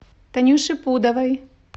танюше пудовой